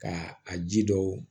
Ka a ji dɔw